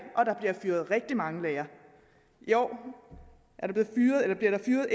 og der bliver fyret rigtig mange lærere i år bliver der fyret